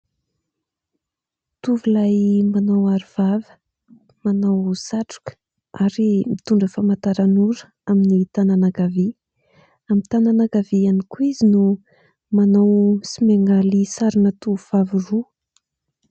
Tovolahy manao arovava, manao satroka ary mitondra famantaran'ora amin'ny tànana ankavia, amin'ny tànana ankavia ihany koa izy no manao sy miangaly sarina tovovavy roa.